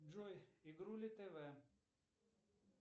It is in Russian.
джой игрули тв